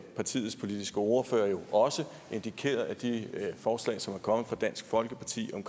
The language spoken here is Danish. partiets politiske ordfører har jo også indikeret at de forslag som er kommet fra dansk folkeparti om